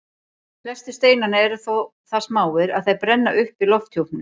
Flestir steinanna eru þó það smáir að þeir brenna upp í lofthjúpnum.